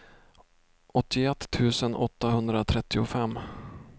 åttioett tusen åttahundratrettiofem